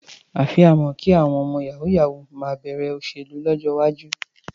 Àfàìmọ̀ kí àwọn ọmọ yàwúú-yawuù má bẹ̀rẹ̀ òṣèlú lọ́jọ́ iwájú.